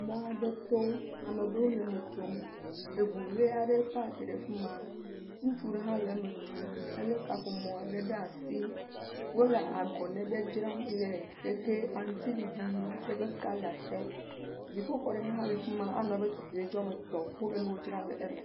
Mɔ aɖe to, amewo le eme tsom. Eŋu ʋi aɖe pak ɖe afi ma. Ŋutsu ɖe hã le eme tsom. Elé kaƒomɔ aɖe ɖe asi. Wole agɔne ɖe dzram le ʋeʋe aŋuti ɖiɖi ƒe kala te. Dziƒoxɔ ɖe hã le afi ma anɔ tutuɖo ame etɔ wole nu dram le eme.